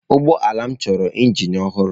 Ụgbọ ala m chọrọ injin ọhụrụ.